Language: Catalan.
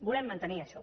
volem mantenir això